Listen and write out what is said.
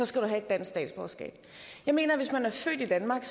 skal du have et dansk statsborgerskab jeg mener at hvis man er født i danmark